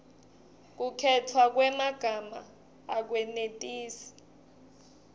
kukhetfwa kwemagama akwenetisi